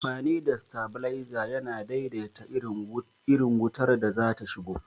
Amfani da stabilizer yana daidaita irin wutar da zata shigo